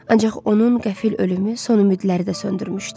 Ancaq onun qəfil ölümü son ümidləri də söndürmüşdü.